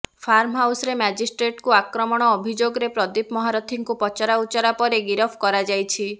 farm ହାଉସରେ ମାଜିଷ୍ଟ୍ରେଟଙ୍କୁ ଆକ୍ରମଣ ଅଭିଯୋଗରେ ପ୍ରଦୀପ ମହାରଥୀଙ୍କୁ ପଚରାଉଚରା ପରେ ଗିରଫ କରାଯାଇଛି